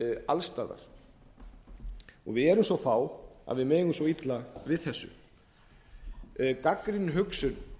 alls staðar við erum svo fá að við megum svo illa við þessu gagnrýnin hugsun